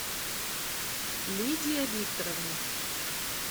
лидия викторовна